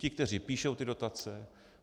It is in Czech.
Ty, kteří píšou ty dotace.